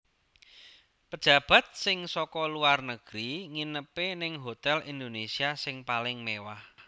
Pejabat sing soko luar negeri nginepe ning Hotel Indonesia sing paling mewah